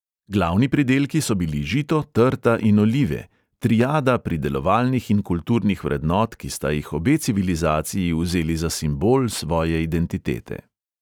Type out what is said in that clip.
Glavni pridelki so bili žito, trta in olive, triada pridelovalnih in kulturnih vrednot, ki sta jih obe civilizaciji vzeli za simbol svoje identitete.